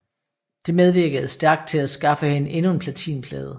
Det medvirkede stærkt til at skaffe hende endnu en platinplade